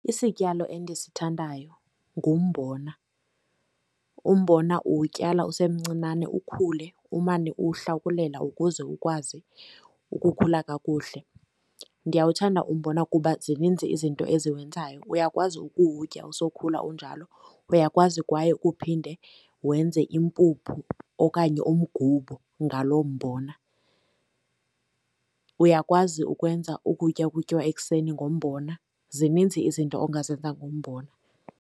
Isityalo endisithandayo ngumbona. Umbona uwutyala usemncinane ukhule umane uwuhlakulela ukuze ukwazi ukukhula kakuhle. Ndiyawuthanda umbona kuba zininzi izinto eziwenzayo. Uyakwazi ukutya usokhula unjalo. Uyakwazi kwaye kuphinde wenze impuphu okanye umgubo ngalo mbona. Uyakwazi ukwenza ukutya okutyiwa ekuseni ngombona. Zininzi izinto ongazenza ngumbona.